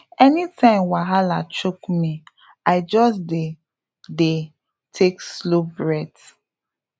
anytime wahala choke me i just dey dey take slow breath